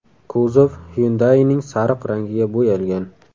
Kuzov Hyundai’ning sariq rangiga bo‘yalgan.